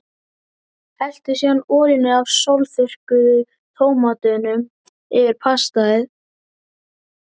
Helltu síðan olíunni af sólþurrkuðu tómötunum yfir pastað.